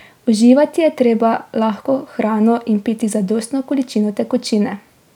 Uživati je treba lahko hrano in piti zadostno količino tekočine.